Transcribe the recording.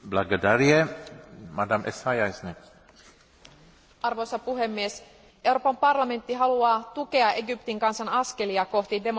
Arvoisa puhemies, Euroopan parlamentti haluaa tukea Egyptin kansan askelia kohti demokratiaa ja ihmisoikeuksia sekä sen oikeusvaltiokehitystä.